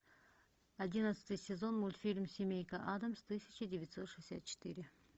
одиннадцатый сезон мультфильм семейка адамс тысяча девятьсот шестьдесят четыре